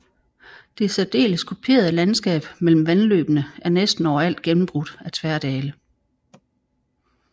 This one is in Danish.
Det særdeles kuperede landskab mellem vandløbene er næsten overalt gennembrudte af tværdale